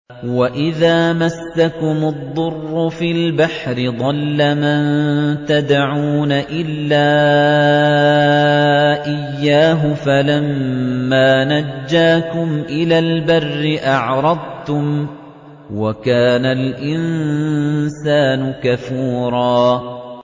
وَإِذَا مَسَّكُمُ الضُّرُّ فِي الْبَحْرِ ضَلَّ مَن تَدْعُونَ إِلَّا إِيَّاهُ ۖ فَلَمَّا نَجَّاكُمْ إِلَى الْبَرِّ أَعْرَضْتُمْ ۚ وَكَانَ الْإِنسَانُ كَفُورًا